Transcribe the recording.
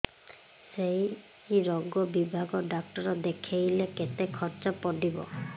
ସେଇ ରୋଗ ବିଭାଗ ଡ଼ାକ୍ତର ଦେଖେଇଲେ କେତେ ଖର୍ଚ୍ଚ ପଡିବ